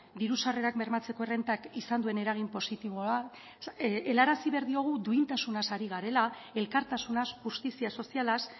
diru sarrerak bermatzeko errentak izan duen eragin positiboa helarazi behar diogu duintasunaz ari garela elkartasunaz justizia sozialaz